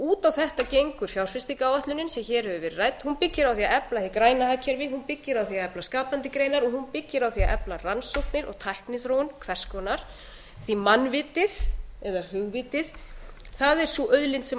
út á þetta gengur fjárfestingaráætlunin sem hér hefur verið rædd hún byggir á því að efla hið græna hagkerfi hún byggir á því að efla skapandi greinar og hún byggir á því að efla rannsóknir og tækniþróun hvers konar því að mannvitið eða hugvitið sé sú auðlind sem